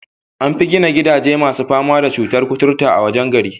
An fi gina gidajen masu fama da cutur kuturta a wajen gari.